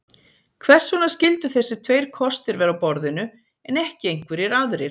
Hvers vegna skyldu þessir tveir kostir vera á borðinu en ekki einhverjir aðrir?